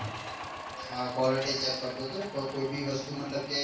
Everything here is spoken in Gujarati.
હા quality check કરતો હતો કે કોઈ બી વસ્તુ મતલબ કે